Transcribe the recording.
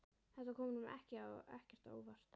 Þetta kom honum ekkert á óvart.